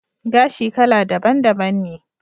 Gashi kala daban daban ne